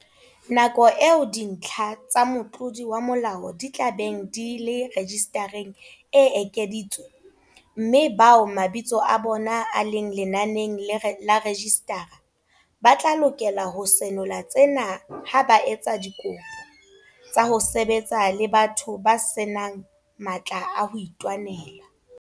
Nako eo dintlha tsa motlodi wa molao di tla beng di le rejisitareng e ekeditswe, mme bao mabitso a bona a leng lenaneng la rejisitara ba tla lokela ho senola tsena ha ba etsa dikopo tsa ho sebetsa le batho ba se nang matla a ho itwanela.